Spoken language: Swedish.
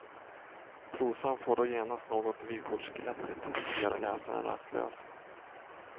Prosan får då genast något vykortsglättigt, som gör läsaren rastlös.